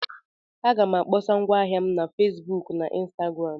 M ga-akpọsa ngwa ahịa m na Facebook na Instagram.